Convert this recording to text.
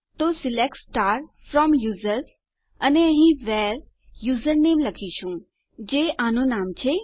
તો select from users અને અહીં આપણે વ્હેરે યુઝરનેમ લખીશું જે આનું નામ છે